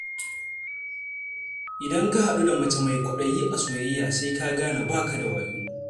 Idan ka haɗu da mace mai kwaɗayi a soyayya, sai ka gane ba ka da wayo.